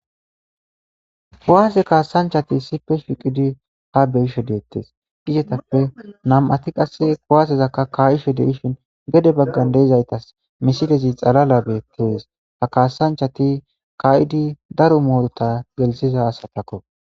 kowaase kaasanchati sipe shiqidi ha beyisho deettes gishetappe nam7ati qasse kowaasezakka ka7isho deishin gede baggan deizaytas misidezi xalala beettees ha kaasanchati kayidi daro moorota gelsiza asatakko